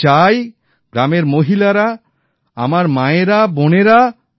আমি চাই গ্রামের মহিলারা আমার মায়েরা বোনেরা